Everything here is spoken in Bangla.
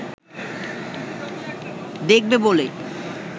দেখবে বলে